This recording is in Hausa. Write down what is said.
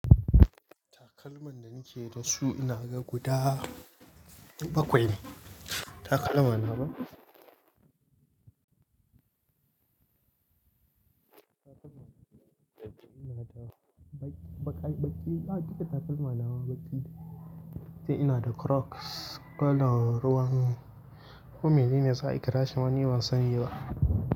Takalman da nake da su, inaga guda bakwai ne. Takalma nawa? Bak-baƙi-baƙi, a duk da takalma nawa baƙi. Sai ina da crocs kalan ruwan ko menene zaa kirashi ma ni ban sani ba.